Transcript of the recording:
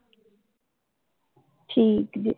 ਠੀਕ ਜੇ